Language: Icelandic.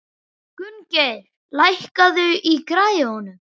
Gunngeir, lækkaðu í græjunum.